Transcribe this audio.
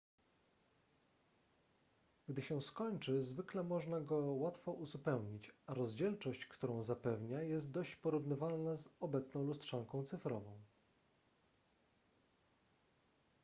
gdy się skończy zwykle można go łatwo uzupełnić a rozdzielczość którą zapewnia jest dość porównywalna z obecną lustrzanką cyfrową